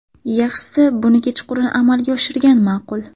Yaxshisi buni kechqurun amalga oshirgan ma’qul.